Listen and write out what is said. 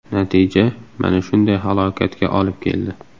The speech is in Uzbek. Natija mana shunday halokatga olib keldi.